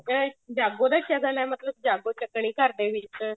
ਅਹ ਜਾਗੋ ਦਾ ਸ਼ਗਨ ਹੈ ਮਤਲਬ ਜਾਗੋ ਚੱਕਨੀ ਘਰ ਦੇ ਵਿੱਚ